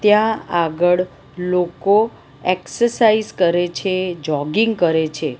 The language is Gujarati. ત્યાં આગળ લોકો એક્સરસાઇઝ કરે છે જોગીંગ કરે છે.